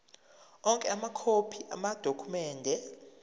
onke amakhophi amadokhumende